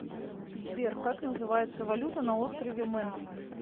сбер как называется валюта на острове мэн